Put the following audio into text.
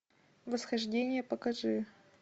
восхождение покажи